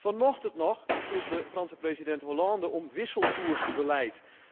Vanochtend nog vroeg de Franse president Hollande om wisselkoersbeleid.